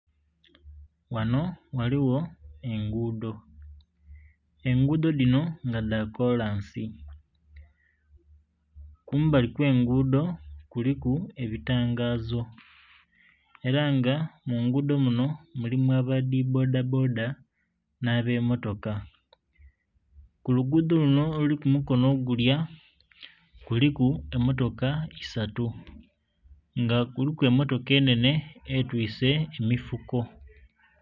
Ghano ghaligho engudho, engudho dhino nga dha kalansi kumbali kwe engudho kuliku ebitangazo era nga mu nhindho dhino mulimu aba dhi boda boda nha be motoka. Ku lugudho kunho oluli ku mukonho ogulya kuliku emotoka isatu nga kuliku emotoka enhenhe etwise emifuko.